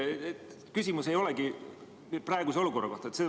Küsimus ei olegi praeguse olukorra kohta.